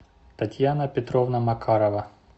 татьяна петровна макарова